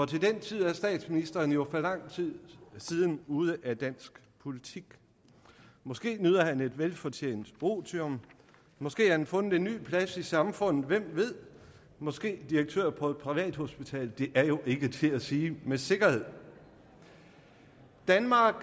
den tid er statsministeren jo for lang tid siden ude af dansk politik måske nyder han et velfortjent otium måske har han fundet en ny plads i samfundet hvem ved måske direktør på et privathospital det er jo ikke til at sige med sikkerhed danmark